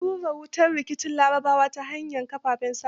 An rura wutar rikicin larabawa ta hanyar kafafen sa da zumunta.